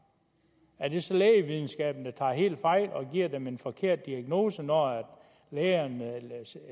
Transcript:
er det så lægevidenskaben der tager helt fejl og giver dem en forkert diagnose når